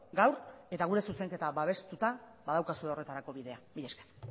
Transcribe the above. gaur eta gure zuzenketa babestuta badaukazue horretarako bidea milesker